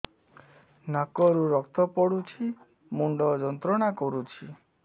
ନାକ ରୁ ରକ୍ତ ପଡ଼ୁଛି ମୁଣ୍ଡ ଯନ୍ତ୍ରଣା କରୁଛି